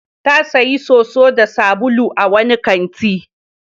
Ta sayo soso da sabulu a wani kanti.